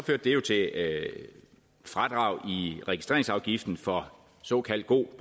fradrag i registreringsafgiften for såkaldt god